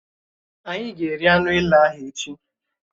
Ányi ga-eri anụ èlé ahụ echi